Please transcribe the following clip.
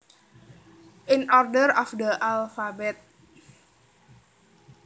In order of the alphabet